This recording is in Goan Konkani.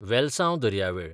वेलसांव दर्यावेळ